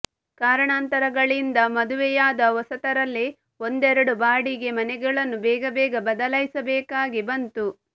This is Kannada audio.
ಕಾರಣಾಂತರಗಳಿಂದ ಮದುವೆಯಾದ ಹೊಸತರಲ್ಲಿ ಒಂದೆರಡು ಬಾಡಿಗೆ ಮನೆಗಳನ್ನು ಬೇಗಬೇಗ ಬದಲಾಯಿಸಬೇಕಾಗಿ ಬಂತು